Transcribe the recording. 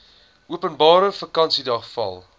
openbare vakansiedag val